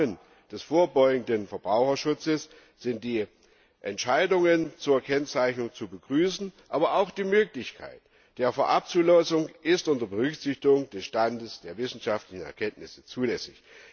Im Rahmen des vorbeugenden Verbraucherschutzes sind die Entscheidungen zur Kennzeichnung zu begrüßen, aber auch die Möglichkeit der Vorabzulassung ist unter Berücksichtigung des Stands der wissenschaftlichen Erkenntnisse zulässig.